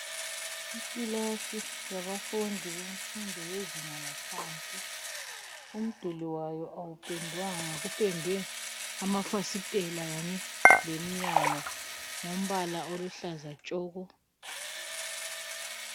Ikilasi yabafundi bemfundo yezinga laphansi. Umduli wayi awupendwanga kupendwe amafasitela kanye lemnyango ngombala oluhlaza tshoko.